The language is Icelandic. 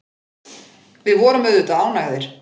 Við vorum auðvitað ánægðir.